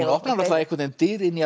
opnar dyr inn í